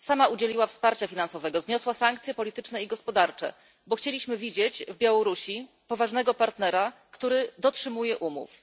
Sama udzieliła wsparcia finansowego, zniosła sankcje polityczne i gospodarcze, bo chcieliśmy widzieć w Białorusi poważnego partnera, który dotrzymuje umów.